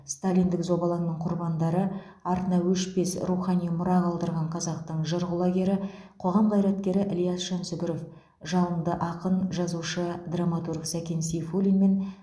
сталиндік зобалаңның құрбандары артына өшпес рухани мұра қалдырған қазақтың жыр құлагері қоғам қайраткері ілияс жансүгіров жалынды ақын жазушы драматург сәкен сейфуллинмен